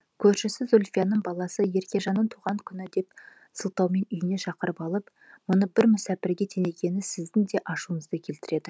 көршісі зульфияның баласы еркежанның туған күні деп сылтаумен үйіне шақырып алып бұны бір мүсәпірге теңегені сіздін де ашуыңызды келтіреді